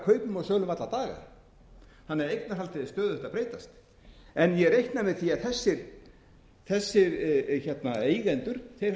kaupum og sölum alla daga þannig að eignarhaldið er stöðugt að breytast en ég reikna með því að þessir eigendur þeir hafi eins og aðrir